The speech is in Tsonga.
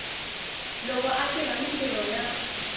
loko a tirha mintirho ya